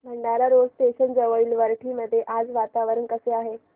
Bhandara road station जवळील वरठी मध्ये आज वातावरण कसे आहे